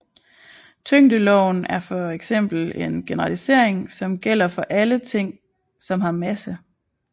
Tyngdeloven er for eksempel en generalisering som gælder for alle ting som har masse